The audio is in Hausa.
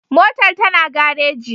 Motar ta na gareji